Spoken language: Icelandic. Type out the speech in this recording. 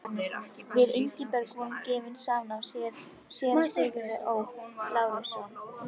Við Ingibjörg voru gefin saman af séra Sigurði Ó. Lárussyni.